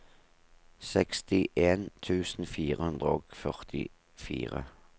sekstien tusen fire hundre og førtifire